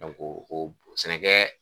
o b sɛnɛkɛɛ